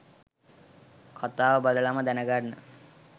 කතාව බලලම දැනගන්න.